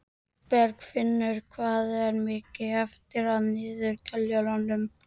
Bergfinnur, hvað er mikið eftir af niðurteljaranum?